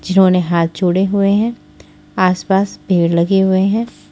जिन्होंने हाथ जोड़े हुए हैं आसपास भीड़ लगे हुए हैं।